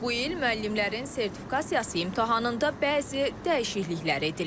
Bu il müəllimlərin sertifikasiya imtahanında bəzi dəyişikliklər edilib.